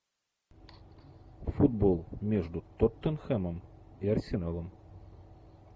футбол между тоттенхэмом и арсеналом